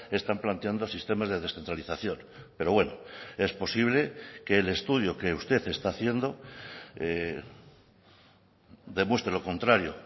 están planteando sistemas de descentralización pero bueno es posible que el estudio que usted está haciendo demuestre lo contrario